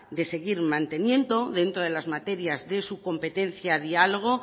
de seguir manteniendo dentro de las materas de su competencia diálogo